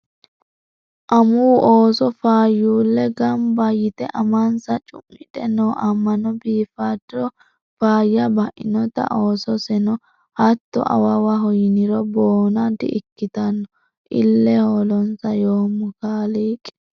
Amuwu ooso faayyulu gamba yte amansa cu'midhe no amano biifado faayyya bainote oososeno hatto awawaho yiniro boona di'ikkittano ile hoolonsa yoommo kaaliiqi.